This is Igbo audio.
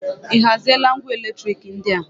Ị haziela ngwa eletriki ndị a?